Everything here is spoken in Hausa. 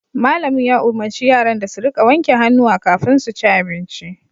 Malamin ya umurci yaran da su rika wanke hannuwa kafin su ci abinci